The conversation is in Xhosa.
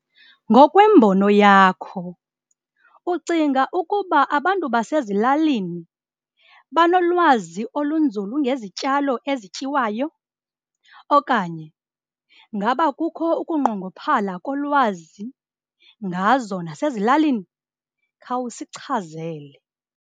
Ngokwembono yakho, ucinga ukuba abantu basezilalini banolwazi olunzulu ngezityalo ezityiwayo okanye ngaba kukho ukunqongophala kolwazi ngazo nasezilalini? Khawusichazele.